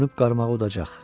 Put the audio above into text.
Dönüb qarmağı udacaq.